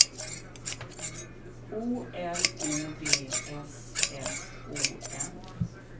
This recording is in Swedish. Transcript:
O L O V S S O N